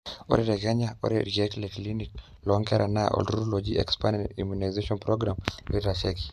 ore te kenya, ore irkeek le clinic loonkera naa olturrur oji expanded immunization program oitasheiki